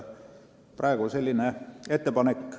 Praegu on selline ettepanek.